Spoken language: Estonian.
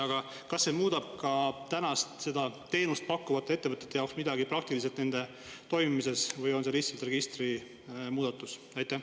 Aga kas see muudab ka praegu teenust pakkuvate ettevõtete jaoks midagi praktiliselt nende toimimises või on see lihtsalt registri muudatus?